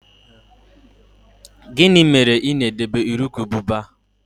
Gịnị mere ị na-edebe urukurubụba?